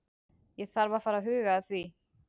Ég þarf að fara að huga því.